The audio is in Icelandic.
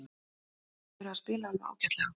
Þeir hafa verið að spila alveg ágætlega.